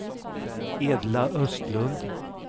Edla Östlund